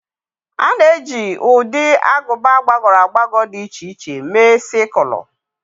A na-eji ụdị agụba gbagọrọ agbagọ dị iche iche mee Sikụlụ.